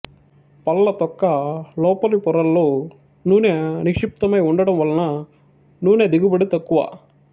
పళ్ల తొక్క లోపలి పొరల్లో నూనె నిక్షిప్తమై వుండటం వలన నూనె దిగుబడి తక్కువ